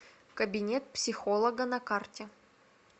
кабинет психолога на карте